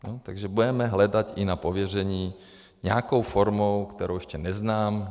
Takže budeme hledat i na pověření nějakou formou, kterou ještě neznám.